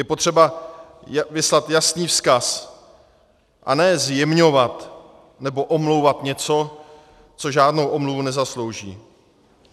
Je potřeba vyslat jasný vzkaz, a ne zjemňovat nebo omlouvat něco, co žádnou omluvu nezaslouží.